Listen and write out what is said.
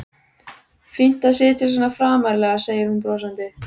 Fínt að sitja svona framarlega, segir hún brosandi.